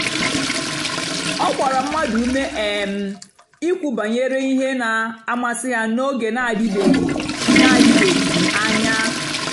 ọ gbàra mmadụ́ ùmè um ìkwù bànyèrè ihe na-àmasị́ ha n'ógè na-àdị̀bèghị́ na-àdị̀bèghị́ anya.